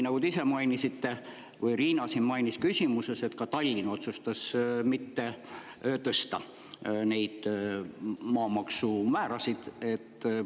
Nagu te ise mainisite või Riina siin mainis küsimuses, ka Tallinn otsustas neid maamaksumäärasid mitte tõsta.